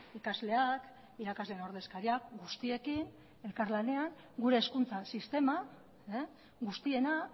ikasleak irakasleen ordezkariak guztiekin elkarlanean gure hezkuntza sistema guztiena